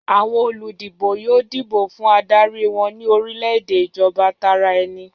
Àwọn olùdìbò yóò dìbò fún adarí wọn ní orílẹ̀-èdè ìjọba tara ẹni.